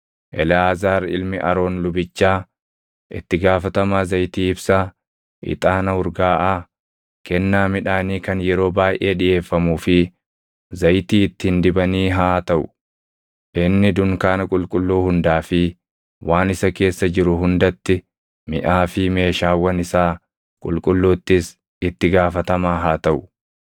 “Eleʼaazaar ilmi Aroon lubichaa itti gaafatamaa zayitii ibsaa, ixaana urgaaʼaa, kennaa midhaanii kan yeroo baayʼee dhiʼeeffamuu fi zayitii ittiin dibanii haa taʼu. Inni dunkaana qulqulluu hundaa fi waan isa keessa jiru hundatti, miʼaa fi meeshaawwan isaa qulqulluuttis itti gaafatamaa haa taʼu.”